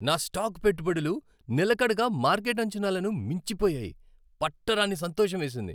నా స్టాక్ పెట్టుబడులు నిలకడగా మార్కెట్ అంచనాలను మించిపోయాయి. పట్టరాని సంతోషమేసింది.